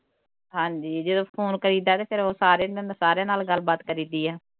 ਹਾਂਜੀ ਜਦੋਂ phone ਕਰੀਦਾ ਤੇ ਫਿਰ ਓਹ ਸਾਰੇ ਸਾਰਿਆਂ ਨਾਲ ਗੱਲ ਬਾਤ ਕਰੀਦੀ ਆ